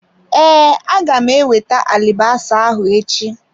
Ee, aga m ewete alibasa ahụ echi.